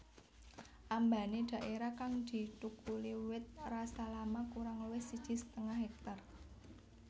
Ambané dhaérah kang dithukuli wit rasalama kurang luwih siji setengah hektar